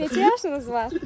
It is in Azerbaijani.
Necə yaşınız var?